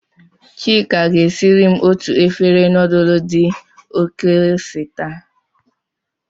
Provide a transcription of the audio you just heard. Chika ga-siri m otu efere nudulu di oke ose taa